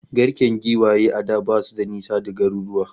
Garken kuraye a da basu da nisa da garuruwa